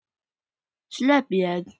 Slepp ég?